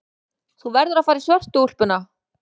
Þú verður að fara í svörtu úlpuna.